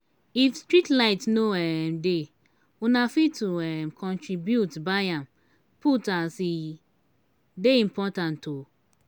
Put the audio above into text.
if streetlight no um dey una fit to um contribute buy am put as e dey important. um